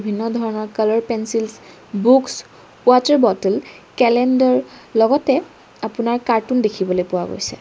বিভিন্ন ধৰণৰ colour pencils books water bottle calendar লগতে আপোনাৰ কাৰ্টুন দেখিবলৈ পোৱা গৈছে।